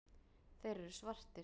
Þeir eru svartir.